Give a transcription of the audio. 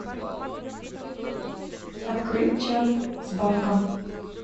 открыть чат с банком